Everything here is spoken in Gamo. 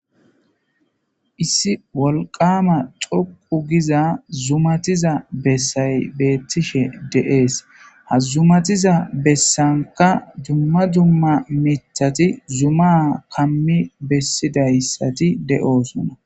Issi wolqama xoqu giza zumatiza bessay beettishe de7ees ha zumatiza bessanka dumma dumma mithati zuma kammi bessidayssati de'oosona.